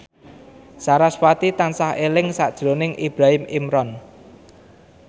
sarasvati tansah eling sakjroning Ibrahim Imran